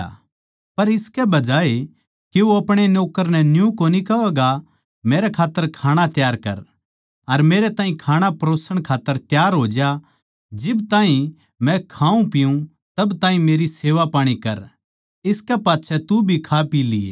पर इसके बजाये के वो अपणे नौक्कर न्यू कोनी कहवैगा मेरे खात्तर खाणा त्यार कर अर मेरे ताहीं खाणा परोसण खात्तर तैयार हो ज्या जिब ताहीं मै खाऊँ पीऊँ तब ताहीं मेरी सेवापाणी कर इसकै पाच्छै तू भी खा पी लिये